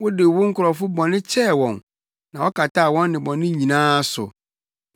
Wode wo nkurɔfo bɔne kyɛɛ wɔn na wokataa wɔn nnebɔne nyinaa so.